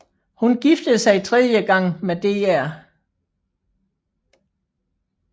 Hun giftede sig tredje gang med Dr